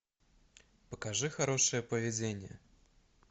покажи хорошее поведение